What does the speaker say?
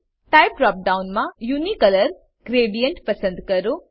type drop ડાઉનમાં unicolour gradient પસંદ કરો